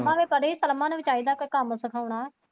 ਭਾਵੇਂ ਪੜੀ ਪਰ ਪਰਮਾ ਨੂੰ ਵੀ ਚਾਹੀਦਾ ਕੇ ਕੰਮ ਸਿਖਾਉਣਾ।